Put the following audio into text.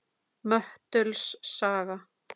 Möttuls saga